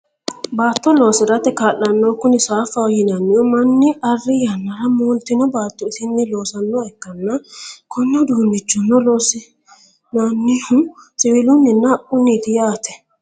baatto loosirate kaa'lannohu kuni saaffaho yinannihu, manni arri yannara mooltino baatto isinni loosannoha ikkanna, konne uduunichono loonsannihuno siwiilunninna haqquniiti yaate.